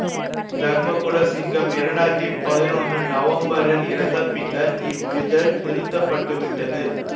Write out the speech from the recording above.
தர்மகுலசிங்கம் இரண்டாயிரத்தி பதினொன்னு நவம்பரில் இறந்த பின்னர் இவ்விதழ் நிறுத்த பட்டு விட்டது